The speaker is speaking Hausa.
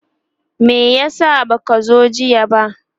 me yasa baka zo jiya ba?